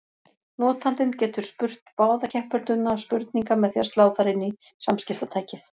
Notandinn getur spurt báða keppendurna spurninga með því að slá þær inn í samskiptatækið.